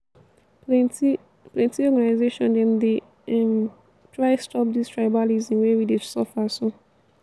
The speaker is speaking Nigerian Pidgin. plenty plenty organisation dem dey um try stop dis tribalism wey we dey suffer so.